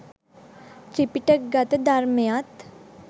ත්‍රිපිටකගත ධර්මයත්